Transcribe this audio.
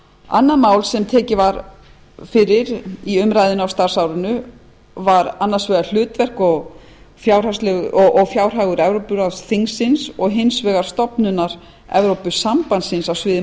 annað mál sem var einnig mikið í umræðunni á starfsárinu var hlutverk og fjárhagur evrópuráðsþingsins annars vegar og stofnunar evrópusambandsins á sviði